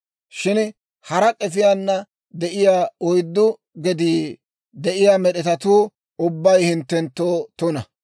Shin hara k'efiyaana de'iyaa oyddu gedii de'iyaa med'etatuu ubbay hinttenttoo tuna.